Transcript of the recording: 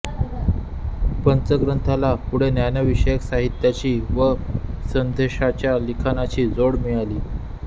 पंचग्रंथाला पुढे ज्ञानविषयक साहित्याची व संदेष्ट्यांच्या लिखाणाची जोड मिळाली